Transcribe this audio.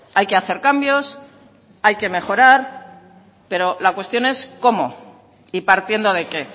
hay que hacer cambios hay que mejorar pero la cuestión es cómo y partiendo de qué